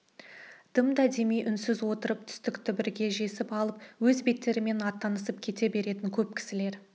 дымда демей үнсіз отырып түстікті бірге жесіп алып өз беттерімен аттанысын кете беретін көп кісілер